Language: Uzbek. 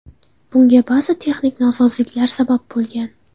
Bunga ba’zi texnik nosozliklar sabab bo‘lgan.